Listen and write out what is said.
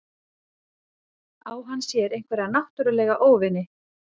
Á hann sér einhverja náttúrulega óvini?